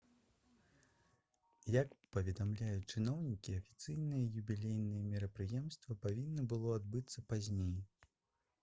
як паведамляюць чыноўнікі афіцыйнае юбілейнае мерапрыемства павінна было адбыцца пазней